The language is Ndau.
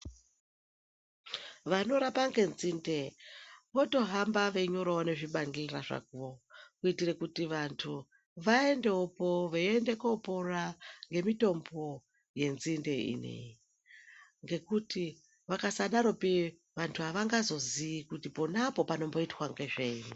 Vanorapa ngenzinde votohamba veinyorawo nezvibandhlela zvavo, kuitire kuti vantu, vaendewopo veiende kopora ngemitombo yenzinde ineyi, ngekuti vakasadaropi vantu avangazoziyi kuti pona apo panomboitwa ngezvei.